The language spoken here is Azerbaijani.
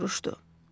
O soruşdu.